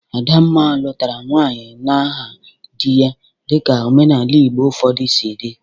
Adamma lụtara nwaanyị n'aha dị ya dịka omenaala Igbo ụfọdụ si dị.